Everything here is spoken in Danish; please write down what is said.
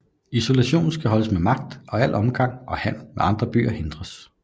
Isolationen skal holdes med magt og al omgang og handel med andre byer hindres